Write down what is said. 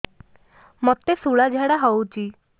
ମୋତେ ଶୂଳା ଝାଡ଼ା ହଉଚି